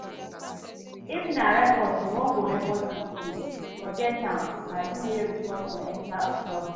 If na report you wan go report dis case, forget am. Na you wey report go enter trouble